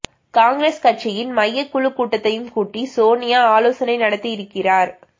காங்கிரஸ் கட்சியின் மையகக் குழு கூட்டத்தையும் கூட்டி சோனியா ஆலொசனை நடத்தியிருக்கிறார்